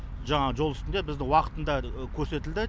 жаңағы жол үстінде бізді уақытында көрсетілді